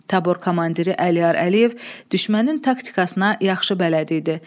Tabor komandiri Əliyar Əliyev düşmənin taktikasına yaxşı bələd idi.